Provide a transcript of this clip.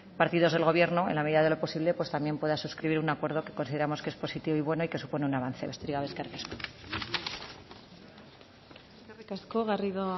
partidos del gobierno en la medida de lo posible pues también pueda suscribir un acuerdo que consideramos que es positivo y bueno y que supone un avance besterik gabe eskerrik asko eskerrik asko garrido